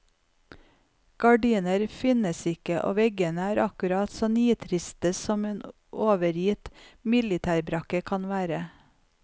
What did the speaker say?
Gardiner finnes ikke, og veggene er akkurat så nitriste som en overgitt militærbrakke skal være.